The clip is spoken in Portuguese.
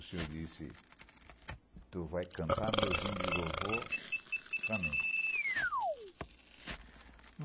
O senhor disse, tu vai cantar meus hinos de louvor para mim.